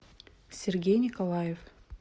сергей николаев